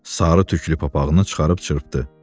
Sarı tüklü papaqını çıxarıb çırpdı.